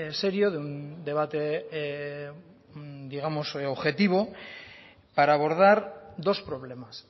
serio de un debate digamos objetivo para abordar dos problemas